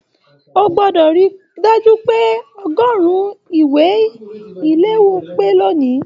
O gbọdọ ríi dájú pé ọgọrùn ìwé iléwọ́ pé lóni!